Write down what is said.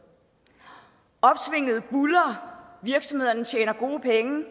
opsvinget buldrer virksomhederne tjener gode penge